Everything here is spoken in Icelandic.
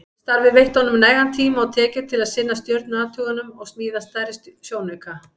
Starfið veitti honum nægan tíma og tekjur til að sinna stjörnuathugunum og smíða stærri sjónauka.